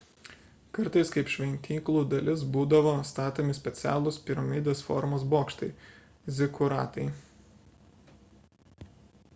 kartais kaip šventyklų dalis būdavo statomi specialūs piramidės formos bokštai – zikuratai